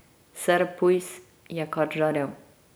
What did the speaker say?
Ser Pujs je kar žarel.